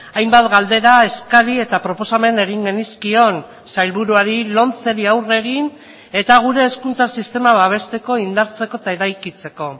hainbat galdera eskari eta proposamen egin genizkion sailburuari lomceri aurre egin eta gure hezkuntza sistema babesteko indartzeko eta eraikitzeko